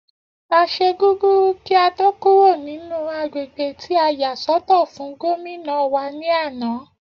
A ṣe gúgúrú kí a tó kúrò nínú agbègbè tí a yà sọ́tọ̀ fún Gómìnà wa ní àná